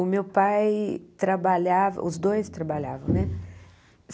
O meu pai trabalhava, os dois trabalhavam, né?